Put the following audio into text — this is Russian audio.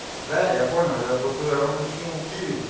да я понял я просто я вам не скинул киви